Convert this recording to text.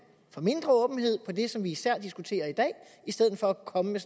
for mindre åbenhed det som vi især diskuterer i dag i stedet for at komme med